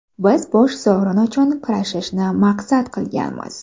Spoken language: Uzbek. Biz bosh sovrin uchun kurashishni maqsad qilganmiz.